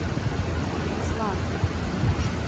руслан